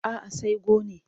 A'a sai gone.